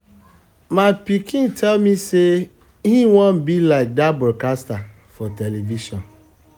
my pikin my pikin tell me say e wan um be like um dat broadcaster for um television